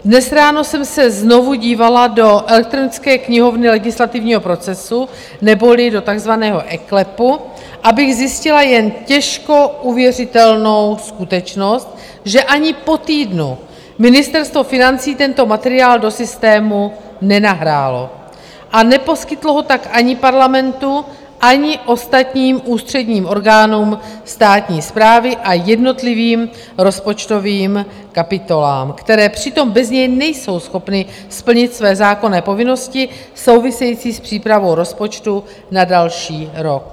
Dnes ráno jsem se znovu dívala do elektronické knihovny legislativního procesu neboli do takzvaného eKLEPu, abych zjistila jen těžko uvěřitelnou skutečnost, že ani po týdnu Ministerstvo financí tento materiál do systému nenahrálo a neposkytlo ho tak ani Parlamentu, ani ostatním ústředním orgánům státní správy a jednotlivým rozpočtovým kapitolám, které přitom bez něj nejsou schopny splnit své zákonné povinnosti související s přípravou rozpočtu na další rok.